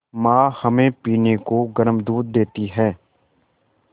माँ हमें पीने को गर्म दूध देती हैं